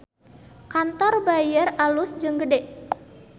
Kantor Bayer alus jeung gede